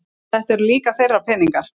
Þetta eru líka þeirra peningar